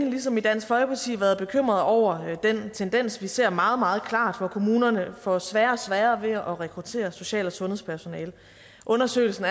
ligesom i dansk folkeparti længe været bekymret over den tendens vi ser meget meget klart hvor kommunerne får sværere og sværere ved at rekruttere social og sundhedspersonale undersøgelsen